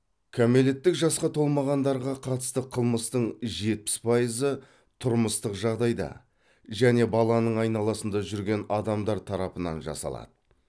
кәмелеттік жасқа толмағандарға қатысты қылмыстың жетпіс пайызыы тұрмыстық жағдайда және баланың айналасында жүрген адамдар тарапынан жасалады